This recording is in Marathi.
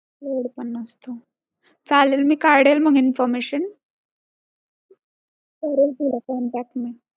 Load पण नसतो. चालेल मग मी काढेल information करेन तुला contact मी.